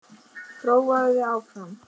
Prófaðu þig áfram.